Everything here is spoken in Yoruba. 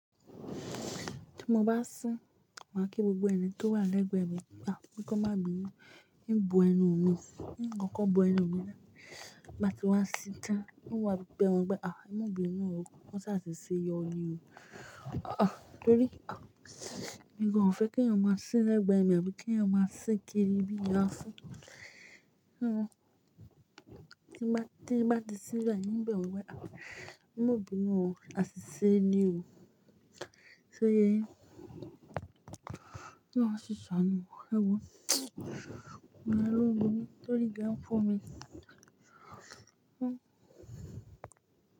Tí mo bá sín, màá kí gbogbo ẹni tó wà lẹ́gbẹ̀ẹ́ mi táwọn kí wọ́n má bí mí ní n bo ẹnu mi. Nǹkan kan bo ẹnu mi náà bá ti wá síta, n ó wí pé wọ́n gbé àwọn ọmọbìnrin náà wọ́n ṣa ṣe yọrí o. Torí mi kò fẹ́ kí ẹ̀yin máa sín lẹ́gbẹ̀ẹ́ mi, àbí kí ẹ̀yin máa sín kiri bí èèyàn sín. Tí mo bá di sí ibẹ̀ yín, yóò bẹ̀ wí pé àwọn ọmọbìnrin náà ṣiṣẹ́ ni o. Ṣé yéyẹ́ yóò ṣiṣẹ́ àná wò ẹgbẹ́ wọ, mo máa lo òògùn tí ó rí gẹ́ń fún mi.